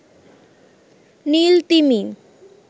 নীল তিমি